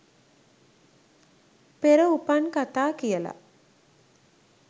පෙර උපන් කථා කියලා.